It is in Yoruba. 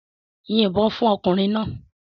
Yìnbọn fún ọkùnrin náà!